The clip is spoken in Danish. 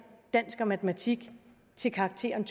dansk og matematik til karakteren